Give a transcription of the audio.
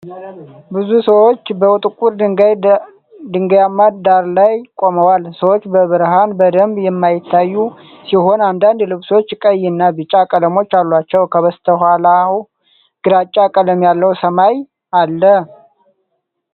ብዙ ሰዎች በጥቁር ድንጋያማ ዳራ ላይ ቆመዋል፡፡ ሰዎች በብርሃን በደንብ የማይታዩ ሲሆን አንዳንድ ልብሶች ቀይ እና ቢጫ ቀለሞች አሏቸው፡፡ ከበስተኋላው ግራጫ ቀለም ያለው ሰማይ አለ፡፡